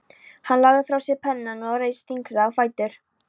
Hann lagði frá sér pennann og reis þyngslalega á fætur.